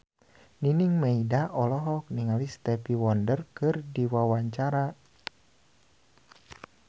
Nining Meida olohok ningali Stevie Wonder keur diwawancara